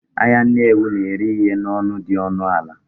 Ahịa Nnewi na-ere ihe n'ọnụ dị ọnụ ala